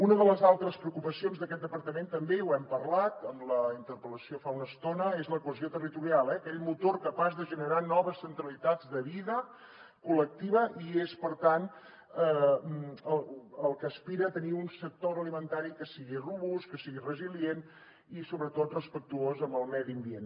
una de les altres preocupacions d’aquest departament també ho hem parlat en la interpel·lació fa una estona és la cohesió territorial eh aquell motor capaç de generar noves centralitats de vida col·lectiva i és per tant el que aspira a tenir un sector agroalimentari que sigui robust que sigui resilient i sobretot respectuós amb el medi ambient